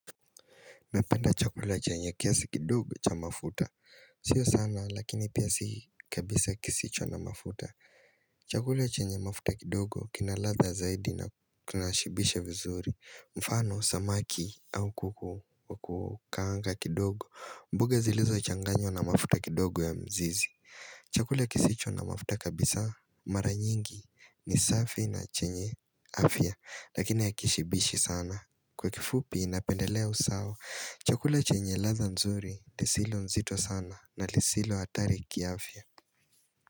Napenda chakula chenye kiasi kidogo cha mafuta Sio sana lakini pia si kabisa kisicho na mafuta Chakula chenye mafuta kidogo kina ladha zaidi na kina shibisha vizuri mfano samaki au kuku wa kukaanga kidogo mboga zilizochanganywa na mafuta kidogo ya mzizi Chakule kisicho na mafuta kabisa mara nyingi ni safi na chenye afya Lakini hakishibishi sana Kwa kifupi napendelea usawa, chakula chenye ladha nzuri lisilo zito sana na lisilo atari kiafya.